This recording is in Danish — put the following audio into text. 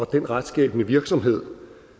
den retsskabende virksomhed